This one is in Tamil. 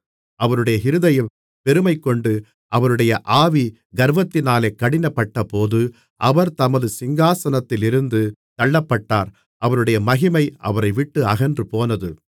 அவருடைய இருதயம் பெருமைகொண்டு அவருடைய ஆவி கர்வத்தினாலே கடினப்பட்டபோது அவர் தமது சிங்காசனத்திலிருந்து தள்ளப்பட்டார் அவருடைய மகிமை அவரைவிட்டு அகன்றுபோனது